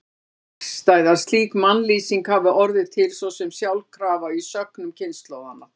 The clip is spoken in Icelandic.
Það er fjarstæða að slík mannlýsing hafi orðið til svo sem sjálfkrafa í sögnum kynslóðanna.